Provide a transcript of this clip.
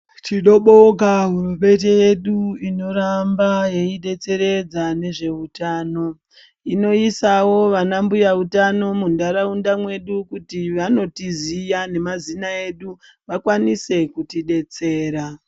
Tinobonga hurumende yedu inoramba yeyidetseredza nezveutano inoisawo vana mbuya utano muntaraunda mwedu kuti vanotiziya nemazina edu vakwanise kutidetsera.